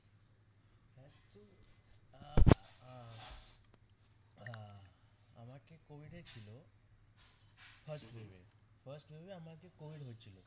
first week এ আমার আর কি covid হয়েছিল